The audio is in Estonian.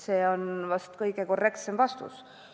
See on vahest korrektne vastus.